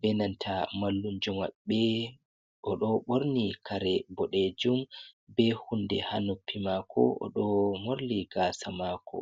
be nanta mallum jo maɓɓe, o ɗo ɓorni kare boɗejum be hunde ha noppi mako o ɗo morli gasa mako.